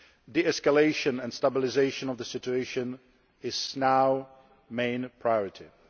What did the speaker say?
De escalation and stabilisation of the situation are now the main priorities.